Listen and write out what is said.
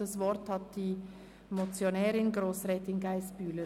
Das Wort hat die Motionärin Grossrätin Geissbühler.